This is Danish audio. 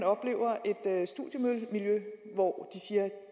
så et studiemiljø hvor